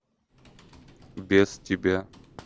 без тебя